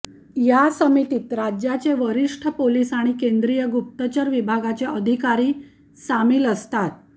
या समितीत राज्याचे वरिष्ठ पोलिस आणि केंद्रीय गुप्तचर विभागाचे अधिकारी सामिल असतात